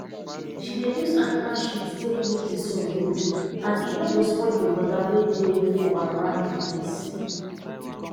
she dey use animal shit take make di soil good and e no go spoil di water wey dey um around di place